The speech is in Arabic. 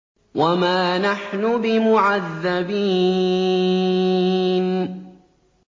وَمَا نَحْنُ بِمُعَذَّبِينَ